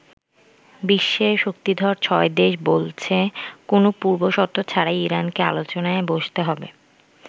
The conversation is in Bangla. বিশ্বের শক্তিধর ছয়দেশ বলছে, কোনো পূর্বশর্ত ছাড়াই ইরানকে আলোচনায় বসতে হবে।